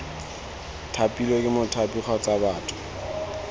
thapilwe ke mothapi kgotsa batho